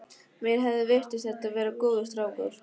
Mér hafði virst þetta vera góður strákur.